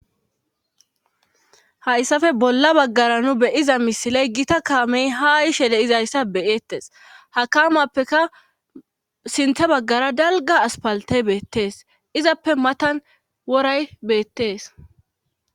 Hayssappe bolla bagara nu be'iza misile gita kaame haa yishe de'izayssa be'etees. Ha kamappekka sinththa bagara dalga aspalte beetees. izappe matan wora beetees.